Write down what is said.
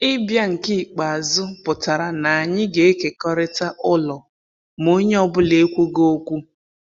Ịbịa nke ikpeazụ pụtara na anyị ga-ekekọrịta ụlọ, ma onye ọ bụla ekwughị okwu.